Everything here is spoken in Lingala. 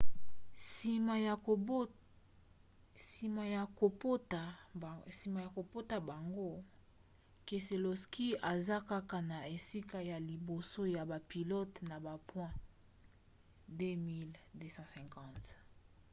nsima ya kopota mbango keselowski aza kaka na esika ya liboso ya bapilote na bapoint 2 250